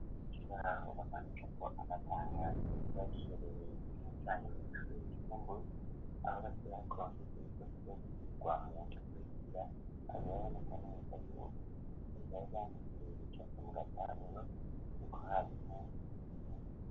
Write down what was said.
Cizahahoraamanuka ko amataniyaro akirajijerereye ikinu canye mu mushurire icumbur abagasorahkvekiyikurizokirirwamanga kurizira aberabonekane wegayubuo uzaygangituriricake mu gatabere no ko harimwazenuna.